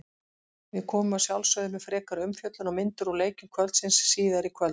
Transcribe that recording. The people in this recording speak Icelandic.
Við komum að sjálfsögðu með frekari umfjöllun og myndir úr leikjum kvöldsins síðar í kvöld.